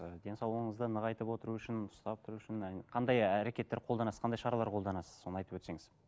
ы денсаулығыңызды нығайтып отыру үшін ұстап тұру үшін қандай әрекеттер қолданасыз қандай шаралар қолданасыз соны айтып өтсеңіз